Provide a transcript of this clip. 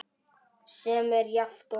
sem er jafnt og